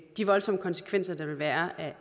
de voldsomme konsekvenser der vil være